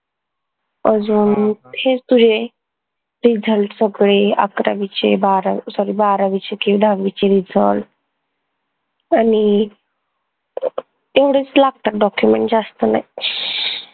अजून हेच तुझे result सगळे अकरावीचे बारा sorry बारावीचे की दहावीचे result आनि तेवढेच लागतात document जास्त नाई